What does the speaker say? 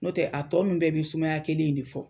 N'o tɛ a tɔ nunnu bɛɛ bɛ sumaya kelen in de fɔ